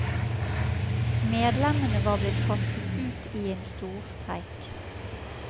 Medlemmene var blitt kastet ut i en storstreik.